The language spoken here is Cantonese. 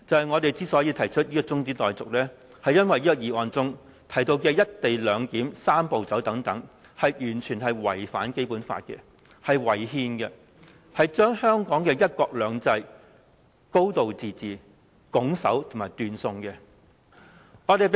我們提出中止待續議案，是因為原議案提到的"一地兩檢"、"三步走"等完全違反《基本法》，是違憲的，是會將香港的"一國兩制"和"高度自治"斷送的。